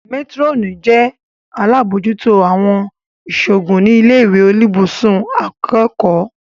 Métírọ́nì jẹ́ alábòójútó àwọn ìṣòògùn ní ilé ìwé oníbùsùn akẹ́kọ̀ọ́